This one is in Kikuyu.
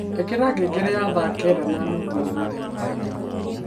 ikira ngengere ya thaa kenda na nuthu umuthi muthenya